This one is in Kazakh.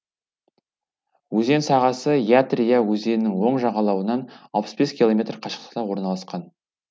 өзен сағасы ятри я өзенінің оң жағалауынан километр қашықтықта орналасқан